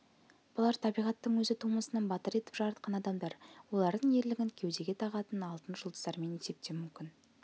бұлар табиғаттың өзі тумысынан батыр етіп жаратқан адамдар олардың ерлігін кеудеге тағатын алтын жұлдыздармен есептеу мүмкін